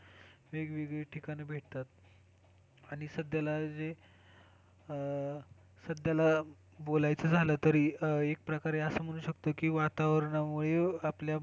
वेगवेगळ्या ठिकाणी भेटतात सध्याला जे अह सध्याला बोलायला झालं तरी एक प्रकारे असं म्हणूं शकतो की वातावरणामुळे आपल्या,